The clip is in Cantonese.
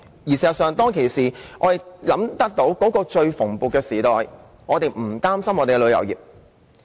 事實上，在當年文創產業最蓬勃的時代，我們不用擔心本地的旅遊業。